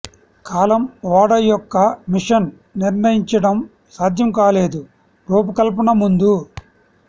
కాలం ఓడ యొక్క మిషన్ నిర్ణయించడం సాధ్యం కాలేదు రూపకల్పన ముందు